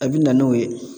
A bi na n'o ye